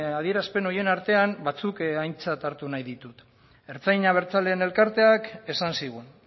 adierazpen horien artean batzuk aintzat hartu nahi ditut ertzain abertzaleen elkarteak esan zigun